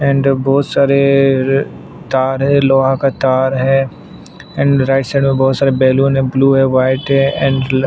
and बहुत सारे तार है लोहा का तार है एंड राईट साइड में बहुत सारा बैलून है ब्लू है वाइट है एंड --